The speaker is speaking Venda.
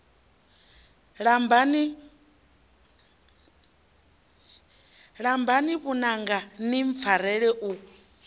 lambani vhananga ni mpfarele u